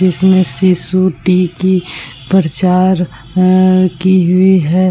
इसमें सीसु टी की प्रचार अ की हुई है।